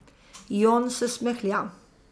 Jon se smehlja.